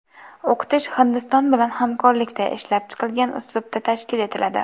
O‘qitish Hindiston bilan hamkorlikda ishlab chiqilgan uslubda tashkil etiladi.